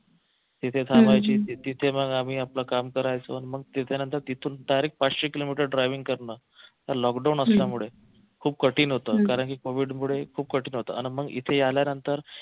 तिथे थांबायची तिथे मग आम्ही आपलं काम करायचो मग तिथे नंतर तिथून direct पाचशे किलोमीटर driving करणार पण लॉकडाऊन असल्यामुळे खूप कठीण होत कारंकी covid मूळे खूप कठीण होत अन मग इथे आल्या नंतर